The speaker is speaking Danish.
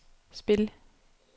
spil